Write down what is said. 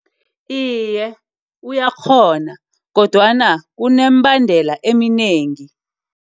Iye, uyakghona kodwana kuneembendela eminengi.